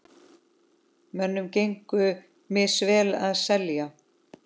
Mönnum gengur misvel að selja.